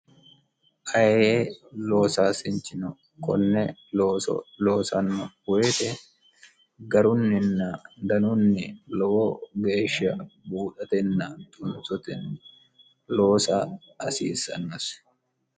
aye loosaasinchino konne loosanno woyite garunninna danunni lowo geeshsha buudhatenna tunsotei loosa hasiissannosi